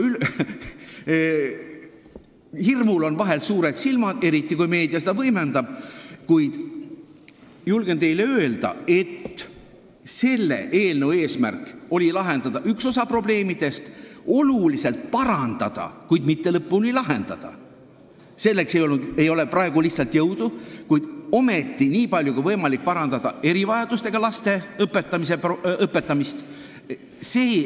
Hirmul on vahel suured silmad, eriti kui meedia seda võimendab, kuid julgen teile öelda, et selle eelnõu eesmärk oli lahendada üks osa probleemidest, oluliselt parandada – mitte lõpuni lahendada, selleks ei ole praegu lihtsalt jõudu –, nii palju kui võimalik parandada erivajadustega laste õpetamist.